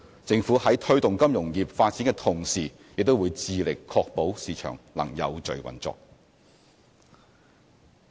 政府在推動金融業發展的同時，也會致力確保市場能有序運作。